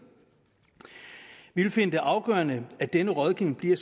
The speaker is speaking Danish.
vi vil finde det afgørende at denne rådgivning bliver